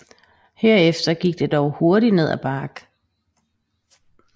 Herefter gik det dog hurtigt ned ad bakke